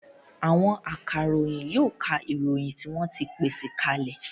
Àwọn akaròyìn yóò ka ìròyìn tí wọ́n ti pèsè ka lẹ̀